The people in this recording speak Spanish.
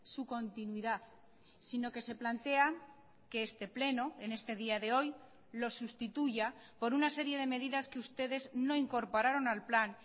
su continuidad sino que se plantea que este pleno en este día de hoy lo sustituya por una serie de medidas que ustedes no incorporaron al plan